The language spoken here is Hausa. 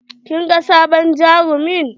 Kin ga sabon jarumin?